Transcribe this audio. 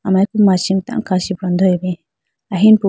amariku machi mai tando kachi khandeya bi ahinupubo.